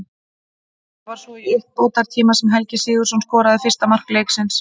Það var svo í uppbótartíma sem Helgi Sigurðsson skoraði fyrsta mark leiksins.